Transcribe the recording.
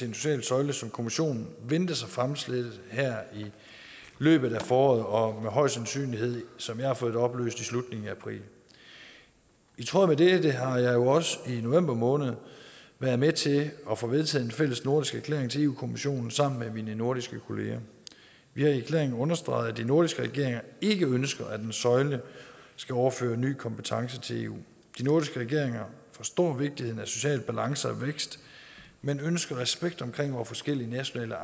en social søjle som kommissionen ventes at fremsætte her i løbet af foråret og højst sandsynligt som jeg har fået det oplyst i slutningen af april i tråd med det har jeg jo også i november måned været med til at få vedtaget en fælles nordisk erklæring til kommissionen sammen med mine nordiske kollegaer vi har i erklæringen understreget at de nordiske regeringer ikke ønsker at en søjle skal overføre ny kompetence til eu de nordiske regeringer forstår vigtigheden af social balance og vækst men ønsker respekt for vore forskellige nationale